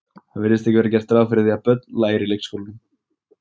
Það virðist ekki vera gert ráð fyrir að börn læri í leikskólum.